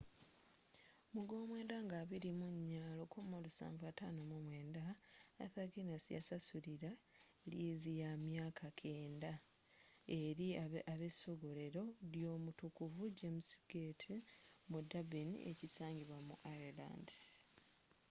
mu gwomwenda nga 24 1759 arthur guiness yasasulira liizi yamyaka 9000 eri abesogolero lyomutukuvu james gate mu durbin ekisangibwa mu ireland